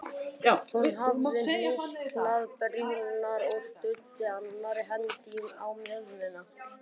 Hún hafði hnyklað brýnnar og studdi annarri hendinni á mjöðmina.